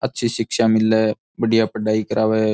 अच्छी शिक्षा मिले है बड़िया पढ़ाई करावे है।